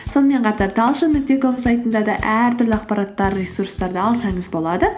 сонымен қатар талшын нүкте ком сайтында да әртүрлі ақпараттар ресурстарды алсаңыз болады